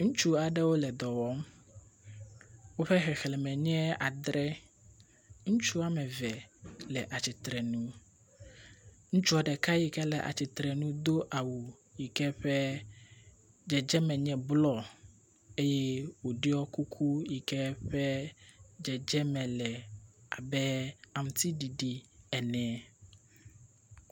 Ŋutsu aɖewo le dɔwɔm, woƒe xexleme nye adre, ŋutsu wome eve le atsitre nu, ŋutsua ɖeka yi ke le atsitre nu do awu yi ke ƒe dzedzeme nye blɔ eye wodiɔ kuku yi ƒe dzedzeme le abe aŋuti ɖiɖi ene